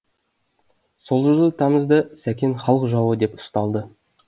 сол жылы тамызда сәкен халық жауы деп ұсталды